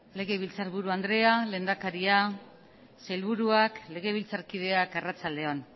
legebiltzarburu andrea lehendakaria sailburuak legebiltzarkideak arratsalde on